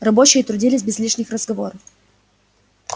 рабочие трудились без лишних разговоров